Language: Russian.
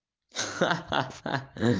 ха-ха-ха